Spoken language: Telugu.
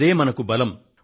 అదే మనకు బలం